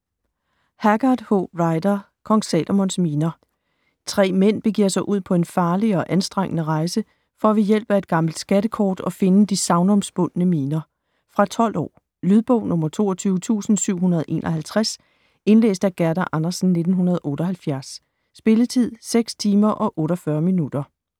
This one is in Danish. Haggard, H. Rider: Kong Salomons miner 3 mænd begiver sig ud på en farlig og anstrengende rejse, for ved hjælp af et gammelt skattekort at finde de sagnomspundne miner. Fra 12 år. Lydbog 22751 Indlæst af Gerda Andersen, 1978. Spilletid: 6 timer, 48 minutter.